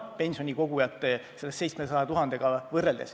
See on tühine arv võrreldes 700 000 pensionikogujaga.